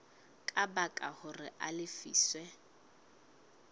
ka baka hore a lefiswe